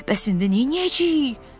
Bəs indi nəyəcəyik?